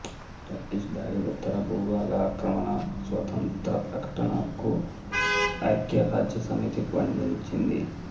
Turkish దాడి ఉత్తర భూభాగ ఆక్రమణ స్వతంత్రప్రకటనను ఐఖ్యరాజ్యసమితి ఖండించింది